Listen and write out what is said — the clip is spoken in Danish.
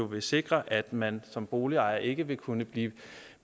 vil sikre at man som boligejer ikke vil kunne blive